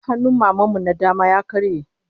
Hannun Maman mu na dama ya karye